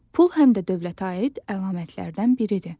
Pul həm də dövlətə aid əlamətlərdən biridir.